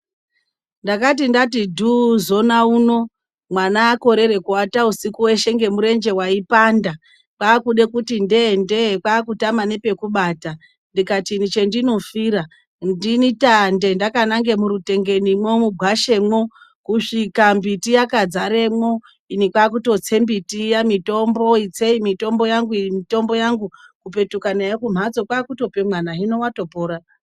Ndakati ndati dhuu zona uno, mwana akorere kuata usiku weshe ngemurenje waipanda. Kwaakude kuti ndee ndee kwaakutama nepekubata, ndikati ini chendinofira, ndini tande ndakananga murutengeni mwo mugwashe mwo. Kusvika mbiti yakadzaremwo, ini kwaakutotse mbiti iya mitombo, itsei mitombo yangu, iyi mitombo yangu kupetuka nayo kumhatso kwaakutope mwana hino watopora.